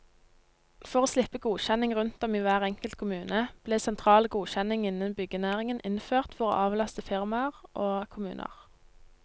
For å slippe godkjenning rundt om i hver enkelt kommune ble sentral godkjenning innen byggenæringen innført for å avlaste firmaer og kommuner.